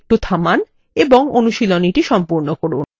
এই tutorial সাময়িকভাবে থামান এবং এই অনুশীলনীটি সম্পূর্ণ করুন